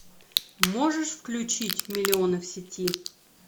можешь включить миллионы в сети